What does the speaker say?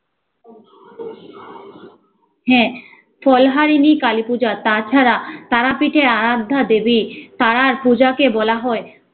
হ্যা, ফলহারিণী কালী পূজা তা ছাড়া তারাপীঠে আরাধ্যা দেবী তারার পূজাকে বলা হয়